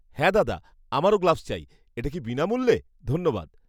হ্যাঁ দাদা, আমারও গ্লাভস চাই। এটা কী বিনামূল্যে? ধন্যবাদ!